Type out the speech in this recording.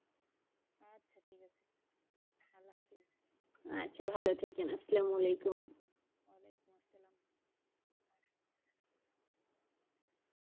আচ্ছা ভালো থাকেন আসসালামালেকুম,